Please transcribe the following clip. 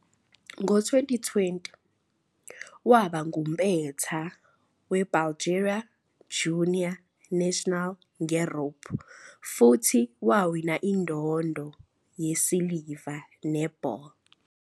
Ngo-2020, waba ngumpetha weBulgaria Junior National ngeRope futhi wawina indondo yesiliva neBall.